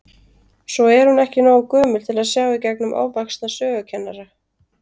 Svo er hún ekki nógu gömul til að sjá í gegnum ofvaxna sögukennara.